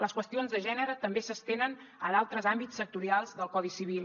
les qüestions de gènere també s’estenen a d’altres àmbits sectorials del codi civil